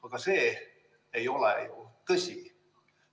Aga see ei ole tõsi.